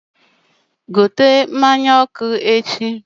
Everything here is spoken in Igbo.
gote mmanya ọkụ echi!